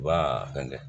Wa fɛnkɛ